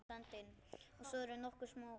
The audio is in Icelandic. Og svo eru nokkur smámál.